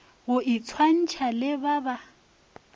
go itshwantšha le ba ba